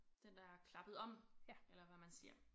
Den er klappet om eller hvad man siger